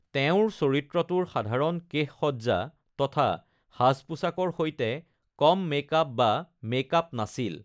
তেওঁৰ চৰিত্ৰটোৰ সাধাৰণ কেশসজ্জা তথা সাজ-পোছাকৰ সৈতে কম মেক আপ বা মেক আপ নাছিল।